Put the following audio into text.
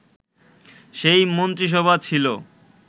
সেই মন্ত্রিসভা ছিল